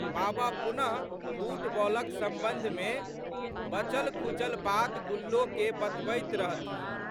बाबा पुनःफुटबॉलक संबंधमे बचलखुचल बात गुल्लोके बतबैत रहथिन।